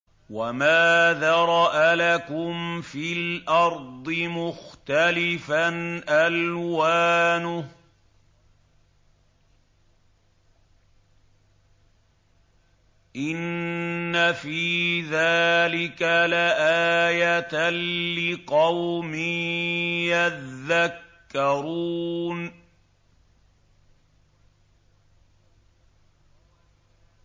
وَمَا ذَرَأَ لَكُمْ فِي الْأَرْضِ مُخْتَلِفًا أَلْوَانُهُ ۗ إِنَّ فِي ذَٰلِكَ لَآيَةً لِّقَوْمٍ يَذَّكَّرُونَ